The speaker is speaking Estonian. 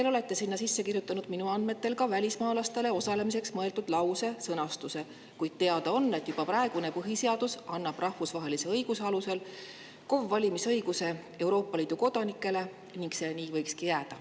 Te olete sinna minu andmetel kirjutanud ka lause, mis sõnastab välismaalaste osalemise, kuid teada on, et juba praegune põhiseadus annab Euroopa Liidu kodanikele rahvusvahelise õiguse alusel KOV‑valimistel õiguse ja see võikski nii jääda.